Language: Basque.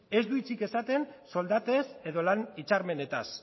ez du hitzik esaten soldatez edo lan hitzarmenetaz